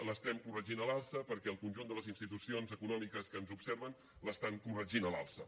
l’estem corregint a l’alça perquè el conjunt de les institucions econòmiques que ens observen l’estan corregint a l’alça